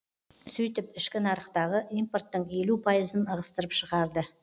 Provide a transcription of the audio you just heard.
сөйтіп ішкі нарықтағы импорттың елу пайызын ығыстырып шығарды